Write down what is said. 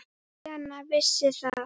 Lena vissi það.